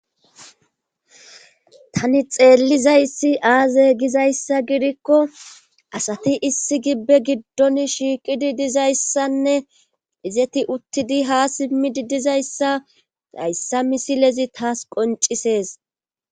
tani xeellizayssi aaze gizayssa gidikko asati issi gibbe giddon shiiqidi dizayssanne izeti uttidi ha simmidi dizayssa hayssa misilezi taas qoncisees